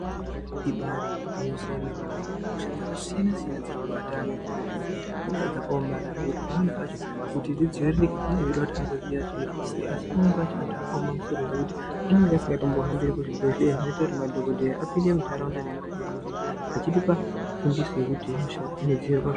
Ibari gwinyiso yemene mene hosha dzakasiyana siyana dziri kubata ana echidodori. Ihosha dzakaomarara ngekuti pamweni pacho kuti zvidziviririke zvinenge zveida kuti ende kuzvibhehlera asi pamweni pacho anhu akaoma masoro anenge asingambohambiri kuzvibhehlera zvinoita kuti madhokodheya apinde muntaraunda achitipa fundiso yekuti hosha dzinodzivirirwa sei.